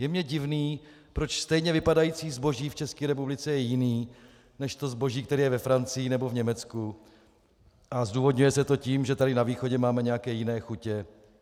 Je mně divné, proč stejně vypadající zboží v České republice je jiné než to zboží, které je ve Francii nebo v Německu, a zdůvodňuje se to tím, že tady na východě máme nějaké jiné chutě.